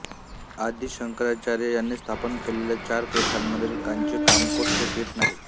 आदि शंकराचार्य यांनी स्थापन केलेल्या चार पीठांमधील कांची कामकोटी हे पीठ नाही